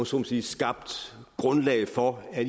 så må sige skabt grundlaget for at